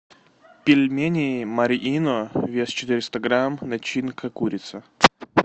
пельмени марьино вес четыреста грамм начинка курица